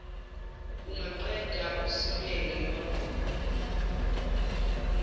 ungaqeda usibeke kwagogo